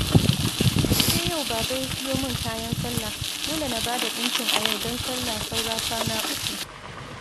Sai yau Baba ya siyo min kayan sallah, dole na ba da ɗinkin a yau don sallah saura kwana uku